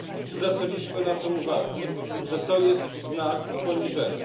Zwracaliśmy uwagę że to jest znak poniżenia.